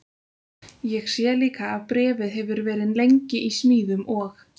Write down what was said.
Ég sé líka að bréfið hefur verið lengi í smíðum og